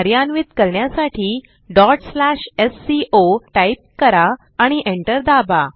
कार्यान्वित करण्यासाठी sco type करा आणि एंटर दाबा